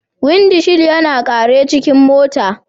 Windi shil yana kare cikin mota.